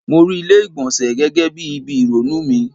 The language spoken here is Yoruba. Mo rí ilé ìgbọ̀nsẹ̀ gẹ́gẹ́ bí ibi ìrònú mi.